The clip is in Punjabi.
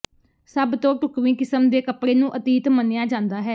ਸਭ ਤੋਂ ਢੁਕਵੀਂ ਕਿਸਮ ਦੇ ਕੱਪੜੇ ਨੂੰ ਅਤੀਤ ਮੰਨਿਆ ਜਾਂਦਾ ਹੈ